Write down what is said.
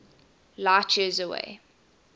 light years away